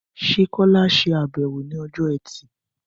Ṣé Kola ṣàbẹ̀wò ní ọjọ́ Ẹtì?